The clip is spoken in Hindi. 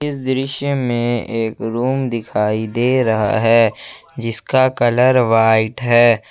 इस दृश्य में एक रूम दिखाई दे रहा है जिसका कलर व्हाइट है।